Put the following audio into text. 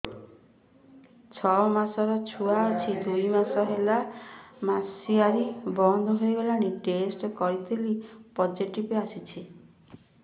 ଛଅ ମାସର ଛୁଆ ଅଛି ଦୁଇ ମାସ ହେଲା ମାସୁଆରି ବନ୍ଦ ହେଇଗଲାଣି ଟେଷ୍ଟ କରିଥିଲି ପୋଜିଟିଭ ଆସିଛି